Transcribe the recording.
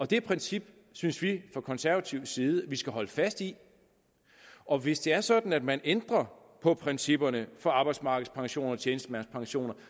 det princip synes vi fra konservativ side vi skal holde fast i og hvis det er sådan at man ændrer på principperne for arbejdsmarkedspensioner og tjenestemandspensioner